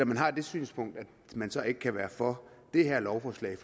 man har det synspunkt så ikke kan være for det her lovforslag